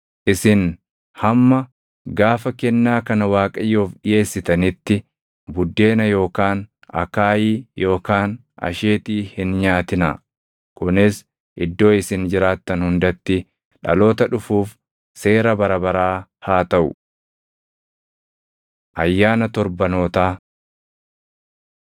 Isin hamma gaafa kennaa kana Waaqayyoof dhiʼeessitanitti buddeena yookaan akaayii yookaan asheetii hin nyaatinaa. Kunis iddoo isin jiraattan hundatti dhaloota dhufuuf seera bara baraa haa taʼu. Ayyaana Torbanootaa 23:15‑22 kwf – Lak 28:26‑31; KeD 16:9‑12